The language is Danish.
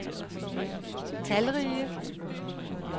talrige